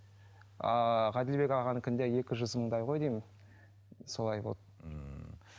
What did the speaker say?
ааа ғаділбек ағаныкінде екі жүз мыңдай ғой деймін солай болды ммм